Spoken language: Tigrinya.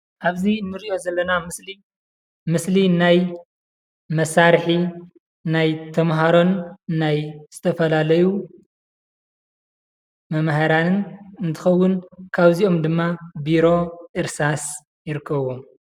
ኣብዚ ንሪኦ ዘለና ምስሊ ምስሊ ናይ መሳርሒ ናይ ተምሃሮን ናይ ዝተፈላለዩ መምሃራንን እንትከውን ካብዚኦም ድማ ቢሮ እርሳስ ይርከብዎም ።